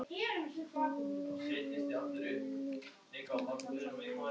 Aldrei farið í hringi og svoleiðis.